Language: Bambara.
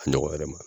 A ɲɔgɔn yɛrɛ ma